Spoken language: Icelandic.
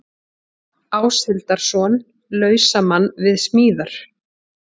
Áshildarson, lausamann við smíðar.